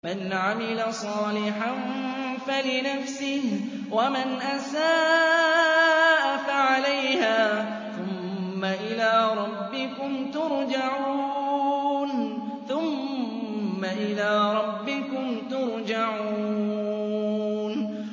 مَنْ عَمِلَ صَالِحًا فَلِنَفْسِهِ ۖ وَمَنْ أَسَاءَ فَعَلَيْهَا ۖ ثُمَّ إِلَىٰ رَبِّكُمْ تُرْجَعُونَ